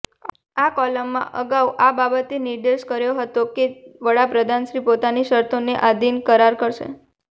આ કોલમમાં અગાઉ આ બાબતે નિર્દેશ કર્યો હતો કે વડાપ્રધાનશ્રી પોતાની શરતોને આધીન કરાર કરશે